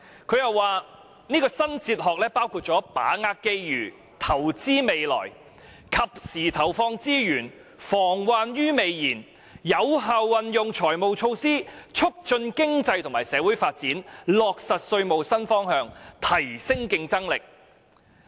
"她又指出這套新哲學包括："把握機遇，投資未來"、"及時投放資源，防患於未然"、"有效運用財務措施，促進經濟和社會發展"，以及"落實稅務新方向，提升競爭力"。